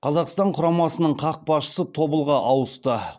қазақстан құрамасының қақпашысы тобылға ауысты